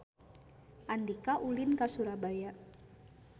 Andika ulin ka Surabaya